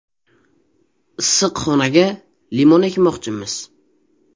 Issiqxonaga limon ekmoqchimiz.